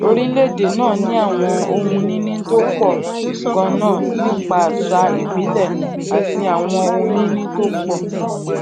orílèèdè náà ní àwọn ohunìní tó pò ganan nípa àṣà ìbílè àti àwọn ohunìní tó àwọn ohunìní tó pò